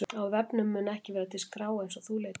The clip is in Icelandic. Á vefnum mun ekki vera til skrá eins og þú leitar að.